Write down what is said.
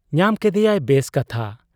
ᱧᱟᱢ ᱠᱮᱫᱮᱭᱟᱭ ᱵᱮᱥ ᱠᱟᱛᱷᱟ ᱾